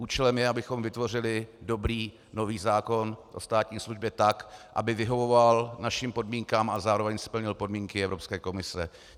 Účelem je, abychom vytvořili dobrý nový zákon o státní službě tak, aby vyhovoval našim podmínkám a zároveň splnil podmínky Evropské komise.